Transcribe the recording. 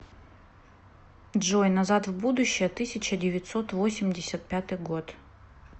джой назад в будущее тысяча девятьсот восемьдесят пятый год